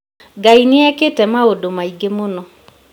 Ngai nĩekĩte maũndũ maingĩ mũno